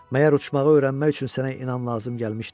Məyər uçmağı öyrənmək üçün sənə inam lazım gəlmişdi?